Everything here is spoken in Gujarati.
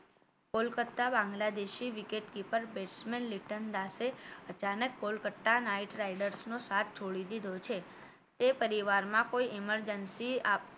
કોલકત્તા બાંગ્લાદેશે wicket keeper batsman લીટન દાસે અચાનક કોલકત્તા Knight Riders ના સાથ છોડી દીધો છે તે પરિવારમાં કોઈ emergency